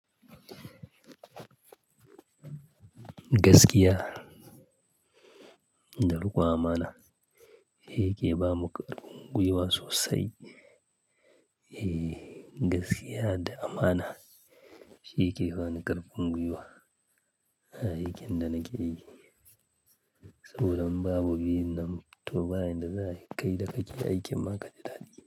Gaskiya da riƙon amana, shi yake ba mu ƙarfin gwiwa sosai. Eh, gaskiya da amana, shi yake bani ƙarfin gwiwa, a aikin da nake yi. Saboda indan babu biyun nan, to ba yanda za ayi kai da kake aikin ma kaji dadi.